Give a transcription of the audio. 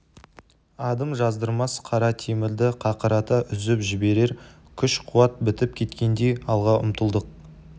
адым жаздырмас қара темірді қақырата үзіп жіберер күш-қуат бітіп кеткендей алға ұмтылдық